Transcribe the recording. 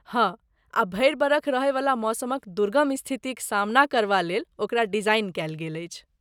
हँ, आ भरि बरख रहयवला मौसमक दुर्गम स्थितिक सामना करबा लेल ओकरा डिजाइन कयल गेल अछि।